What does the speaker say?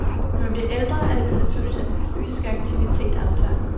Når man bliver ældre, er det vel naturligt, at den fysiske aktivitet aftager.